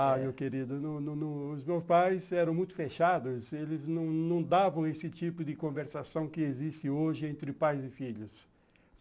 Ah, meu querido, não não não os meus pais eram muito fechados, eles não não davam esse tipo de conversação que existe hoje entre pais e filhos.